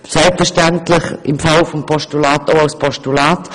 Selbstverständlich würden wir sie ebenfalls als Postulate unterstützen.